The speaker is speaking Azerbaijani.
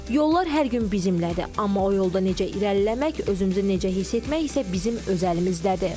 Yollar hər gün bizimlədir, amma o yolda necə irəliləmək, özümüzü necə hiss etmək isə bizim öz əlimizdədir.